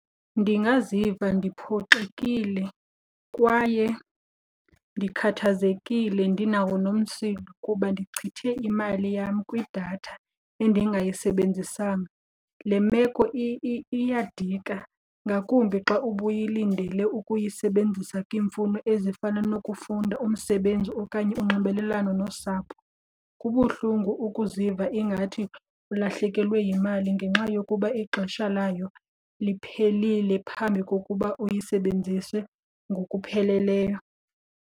Ndingaziva ndiphoxekile kwaye ndikhathazekile, ndinawo nomsindo kuba ndichithe imali yam kwidatha endingayisebenzisanga. Le meko iyadika ngakumbi xa ubuyilindele ukuyisebenzisa kwimfuno ezifana nokufunda, umsebenzi okanye unxibelelwano nosapho. Kubuhlungu ukuziva ingathi ulahlekelwe yimali ngenxa yokuba ixesha labo liphelile phambi kokuba uyisebenzise ngokupheleleyo.